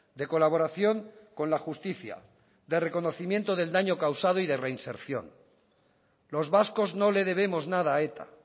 de colaboración con la justicia de reconocimiento del daño causado y de reinserción los vascos no le debemos nada a eta